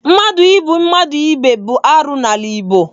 Mmadụ igbu mmadụ ibe bụ arụ n'ala Igbo.